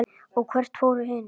og hvert fóru hinir?